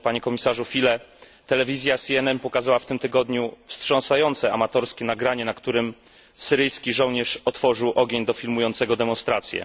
Panie Komisarzu Füle! Telewizja CNN pokazała w tym tygodniu wstrząsające amatorskie nagranie, na którym syryjski żołnierz otworzył ogień do filmującego demonstracje.